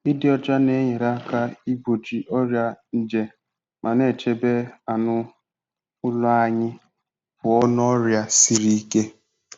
Ịdị ọcha na-enyere aka igbochi ọrịa nje ma na-echebe anụ ụlọ anyị pụọ n'ọrịa siri ike.